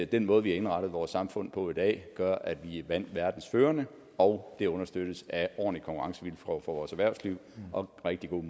den måde vi har indrettet vores samfund på i dag gør at vi er blandt verdens førende og det understøttes af ordentlige konkurrencevilkår for vores erhvervsliv og rigtig gode